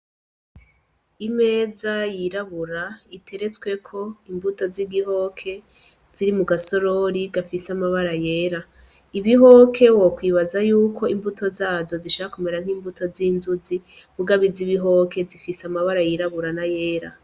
Imeza yirabura iteretsweko imbuto zigihoke ziri mu gasorori gafise amabara yera. Ibihoke wokwibaza yuko imbuto zazo zishaka kumera nk'imbuto zi nzuzi mugabo iz'ibihoke zifise amabara yera n'ayirabura.